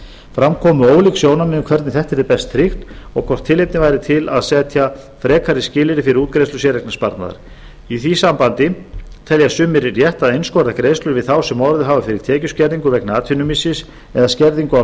fram komu ólík sjónarmið um hvernig þetta yrði best tryggt og hvort tilefni væri til þess að setja frekari skilyrði fyrir útgreiðslu séreignarsparnaðar í því sambandi telja sumir rétt að einskorða greiðslur við þá sem orðið hafa fyrir tekjuskerðingu vegna atvinnumissis eða skerðingu á